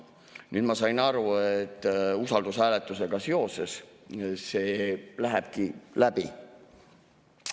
Nüüd ma sain aru, et usaldushääletusega seoses see lähebki läbi.